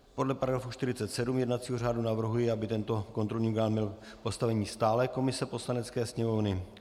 Podle § 47 jednacího řádu navrhuji, aby tento kontrolní orgán měl postavení stálé komise Poslanecké sněmovny.